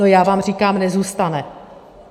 No já vám říkám, nezůstane.